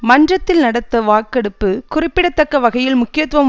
மன்றத்தில் நடந்த வாக்கெடுப்பு குறிப்பிடத்தக்க வகையில் முக்கியத்துவம்